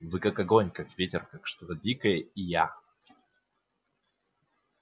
вы как огонь как ветер как что-то дикое и я